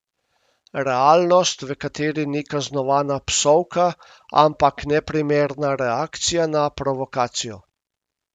Realnost, v kateri ni kaznovana psovka, ampak neprimerna reakcija na provokacijo.